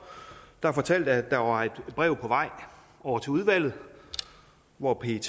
der fortalte at der var et brev på vej over til udvalget hvor pet